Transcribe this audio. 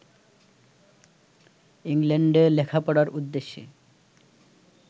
ইংল্যান্ডে লেখাপড়ার উদ্দেশ্যে